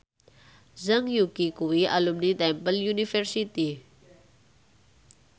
Zhang Yuqi kuwi alumni Temple University